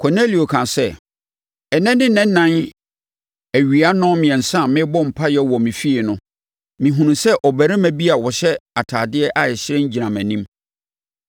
Kornelio kaa sɛ, “Ɛnnɛ ne nna ɛnan awia nnɔnmiɛnsa a merebɔ mpaeɛ wɔ me fie no, mehunuu sɛ ɔbarima bi a ɔhyɛ atadeɛ a ɛhyerɛn gyina mʼanim.